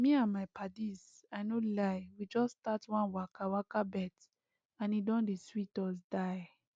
me and my padies i no lie we just start one waka waka bet and e don dey sweet us die